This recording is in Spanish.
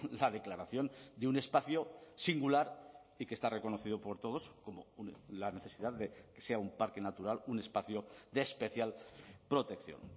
la declaración de un espacio singular y que está reconocido por todos como la necesidad de que sea un parque natural un espacio de especial protección